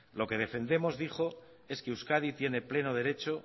lo que defendemos dijo es que euskadi tiene pleno derecho